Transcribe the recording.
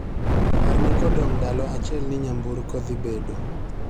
Parna kodong' ndalo achiel ni nyamburko dhi bedo